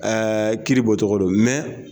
Aa kiiri bɔcogo don